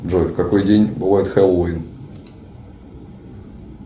джой в какой день бывает хэллоуин